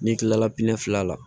N'i kilala fila la